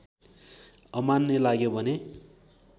अमान्य लाग्यो भने